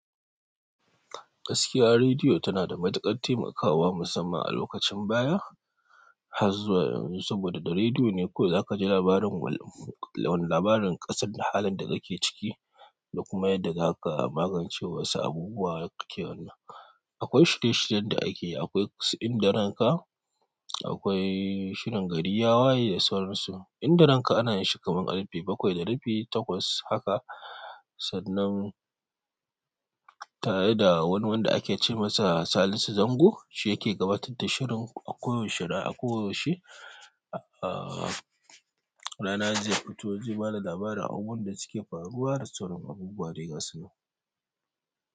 Gaskiya, rediyo tana da matuƙar taimakawa musamman a lokacin baya har zuwa yanzu, saboda da rediyo ne ko zaka ji labarin, wani labarin ƙasar da halin da dakake ciki da kuma yadda za ka magance wasu abubuwa da kake wannan. Akwai shirye-shiryen da ake yi, akwai su Indaranka, akwai shirin Gariyawa da sauran su. Indaranka ana yi shi kaman ƙarfe bakwai da rabi takwas haka, sannan tare da wani wanda ake ce masa Salisu Zango, shi yake gabatar da shirin a koyaushe da koyaushe. A a rana zai fito zai bada labarin abubuwan da suke faruwa da sauran abubuwa dai gasunan.